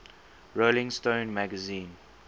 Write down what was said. rolling stone magazine